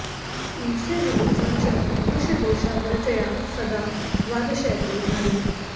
ईर्ष्या जुगुप्सा च मनुष्यदोषा वर्ज्याः सदा द्वादशैते नरेण